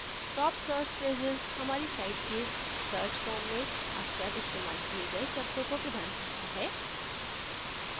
top search phrases हमारी site के search forms में अक्सर इस्तेमाल किये गए शब्दों को प्रदान करता है